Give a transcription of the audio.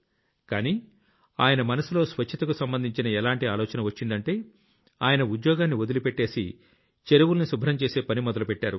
కానీ ఆయన మనసులో స్వచ్ఛతకు సంబంధించిన ఎలాంటి ఆలోచన వచ్చిందంటే ఆయనా ఉద్యోగాన్ని వదిలిపెట్టేసి చెరువుల్ని శుభ్రం చేసే పని మొదలుపెట్టారు